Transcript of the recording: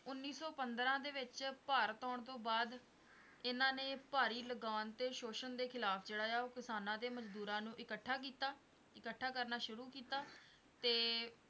ਉਨੀ ਸੌ ਪੰਦਰਾਂ ਦੇ ਵਿੱਚ ਭਾਰਤ ਆਉਣ ਤੋਂ ਬਾਦ ਇਹਨਾਂ ਨੇ ਭਾਰੀ ਲਗਾਉਣ ਤੇ ਸ਼ੋਸ਼ਨ ਦੇ ਖਿਲਾਫ਼ ਜਿਹੜਾ ਆਹ ਉਹ ਕਿਸਾਨਾਂ ਤੇ ਮਜਦੂਰਾਂ ਨੂੰ ਇਕੱਠਾ ਕੀਤਾ, ਇਕੱਠਾ ਕਰਨਾ ਸ਼ੁਰੂ ਕੀਤਾ ਤੇ